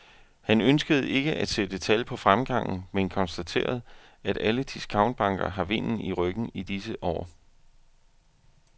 Han ønskede ikke at sætte tal på fremgangen, men konstaterede, at alle discountbanker har vinden i ryggen i disse år.